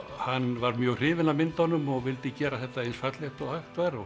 hann var mjög hrifinn af myndunum og vildi gera þetta eins fallegt og hægt var